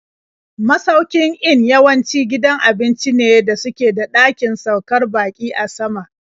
Masaukin in yawanci gidan abinci ne da suke da ɗakin saukar baƙi a sama.